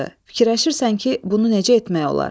Fikirləşirsən ki, bunu necə etmək olar?